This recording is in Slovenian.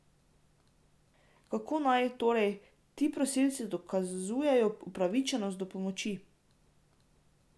Kako naj, torej, ti prosilci dokazujejo upravičenost do pomoči.